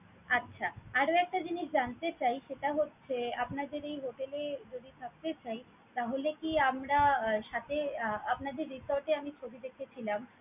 আচ্ছা! আরো একটা জিনিস জানতে চাই সেটা হচ্ছে আপনাদের এই hotel এ যদি থাকতে চাই তাহলে কি আমরা আহ সাথে আহ আপনাদের resort এ আমি ছবি দেখেছিলাম